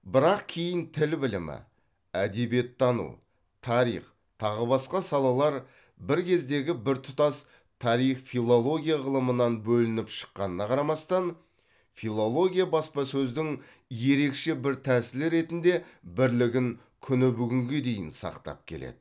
бірақ кейін тіл білімі әдебиеттану тарих тағы басқа салалар бір кездегі біртұтас тарих филология ғылымынан бөлініп шыққанына қарамастан филология баспасөздің ерекше бір тәсілі ретінде бірлігін күні бүгінге дейін сақтап келеді